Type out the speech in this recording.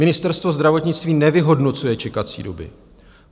"Ministerstvo zdravotnictví nevyhodnocuje čekací doby.